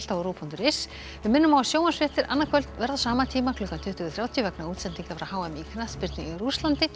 á rúv punktur is við minnum á að sjónvarpsfréttir annað kvöld verða á sama tíma klukkan tuttugu þrjátíu vegna útsendinga frá h m í knattspyrnu í Rússlandi en